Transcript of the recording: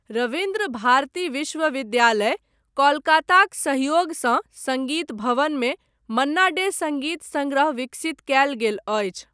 रवीन्द्र भारती विश्वविद्यालय, कोलकाताक सहयोगसँ सङ्गीत भवनमे मन्ना डे सङ्गीत संग्रह विकसित कयल गेल अछि।